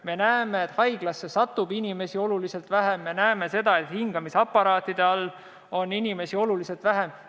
Me näeme, et haiglasse satub inimesi oluliselt vähem, ja me näeme, et hingamisaparaatide all on inimesi oluliselt vähem.